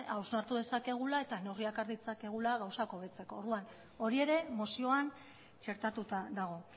hausnartu dezakegula eta neurriak har ditzakegula gauzak hobetzeko orduan hori ere mozioan txertatuta dago